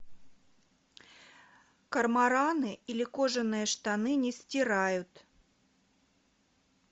кормораны или кожаные штаны не стирают